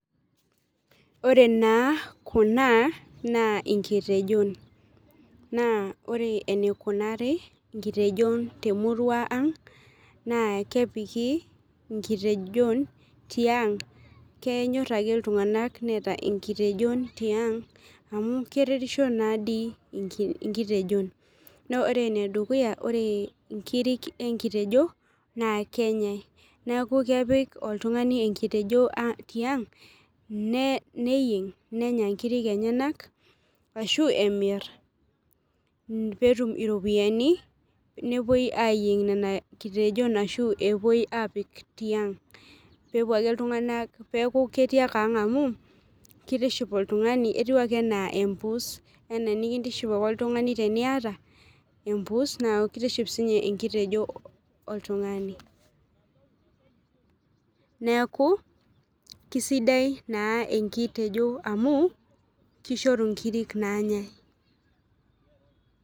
Ore naa kuna nankitejon ore enikunari nkitejon temurua aang na kepiki nkitejon tiang kenyor ake ltunganak neeta nkitejon tiang amu keretisho nadii nkitejon neaku ore enedukuya ore nkirik enkitejo na kenyae neaku kepik oltungani enkitejo tiang neyieng nenya nkirik enyenak ashu eyieng petum iropiyiani nepuo ayieng nkitejon ashu epoi apik tiang, nepuo ake ltunganak neaku ketii ake ninye ang na kitiship oltungani etiu ake anaa empuus ana enkintiship ake oltungani teniata embus na kitiship sinye enkitejo oltungani.